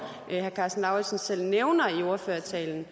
herre karsten lauritzen selv nævner i ordførertalen